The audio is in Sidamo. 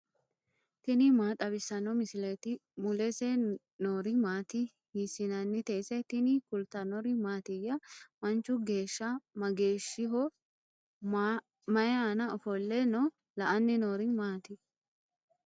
tini maa xawissanno misileeti ? mulese noori maati ? hiissinannite ise ? tini kultannori mattiya? Manchu geesha mageeshshiho? May aanna ofolle nooho? la'anni noori maatti?